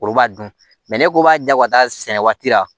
O b'a dun ne ko b'a ja ka taa sɛnɛ waati la